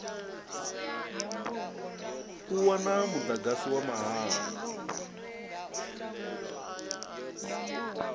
u wana mudagasi wa mahala